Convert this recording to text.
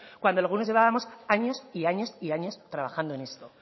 cuando algunos llevábamos años y años y años trabajando en esto